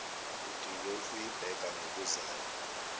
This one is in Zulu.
udinge ukuyibheka ngokuzayo